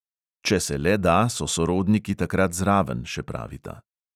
Če se le da, so sorodniki takrat zraven, še pravita.